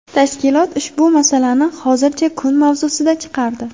Tashkilot ushbu masalani hozircha kun mavzusidan chiqardi.